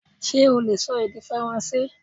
Ṣé ó leè sọ èdè faransé